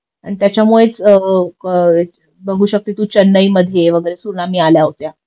अन त्याच्यामुळेच बघू शकते तू चेन्नई मध्ये वगैरे सुनामी आल्या होत्या